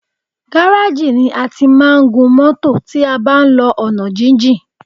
Gáráàjì ni a ti máa ń gun mọ́tọ̀ tí a bá ń lọ ọ̀nà jíjìn.